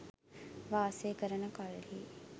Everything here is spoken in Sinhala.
වාසය කරන කල්හි